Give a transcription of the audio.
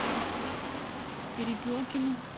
перепелкину